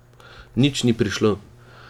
Nič ni prišlo.